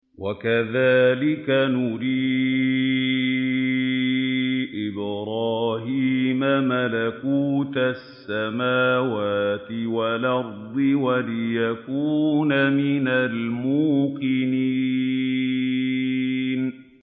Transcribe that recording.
وَكَذَٰلِكَ نُرِي إِبْرَاهِيمَ مَلَكُوتَ السَّمَاوَاتِ وَالْأَرْضِ وَلِيَكُونَ مِنَ الْمُوقِنِينَ